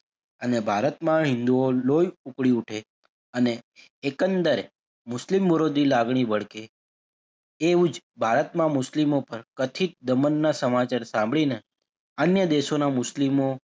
અને ભારતમાં હિંદુઓ લોહી ઉકળી ઉઠે અને એકંદરે મુસ્લિમ વિરોધી લાગણી વળગે એવું જ ભારતમાં મુસ્લિમો પણ કથિત દમણના સમાચાર સાંભળીને અન્ય દેશોના મુસ્લિમો,